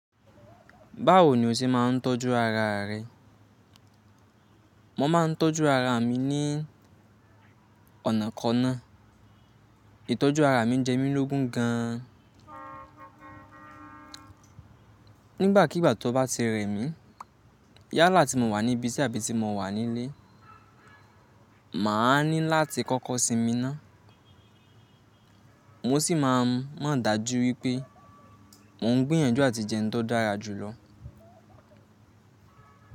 Báwo ni o ṣe máa ń tọ́jú ara rẹ? Mo máa ń tọ́jú ara mi ní ọ̀nà kanáà. Ìtọ́jú ara mi jẹ́mílógun gan an. Nígbàkigbà to bá ti rẹ̀mí, yálà tí mo wà ní ibi sí àbí tí mo wà nílé, mà á ní láti kọ́kọ́ sinmi ná. Mo sì máa ń máa ń dájú wípé n ò ń gbìyànjú àti jẹun tó dára jù lọ.